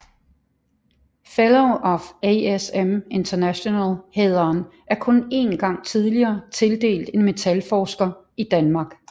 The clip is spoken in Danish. Fellow of ASM International hæderen er kun én gang tidligere tildelt en metalforsker i Danmark